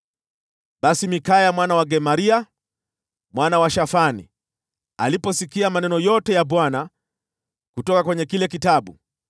Basi Mikaya mwana wa Gemaria, mwana wa Shafani, aliposikia maneno yote ya Bwana kutoka kwenye kile kitabu,